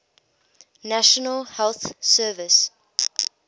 national health service